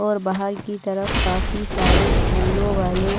और बाहर की तरफ काफी सारे फूलों वाले--